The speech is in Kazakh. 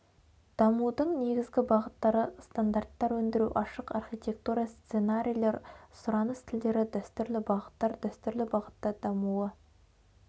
дамудың негізгі бағыттары стандарттар өңдіру ашық архитектура сценарийлер сұраныс тілдері дәстүрлі бағыттар дәстүрлі бағытта дамуы